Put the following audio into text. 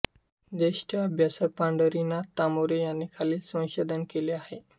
ज्येष्ठ अभ्यासक पंढरीनाथ तामोरे यांनी खालील संशोधन केले आहे